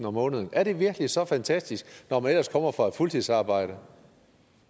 om måneden er det virkelig så fantastisk når man ellers kommer fra et fuldtidsarbejde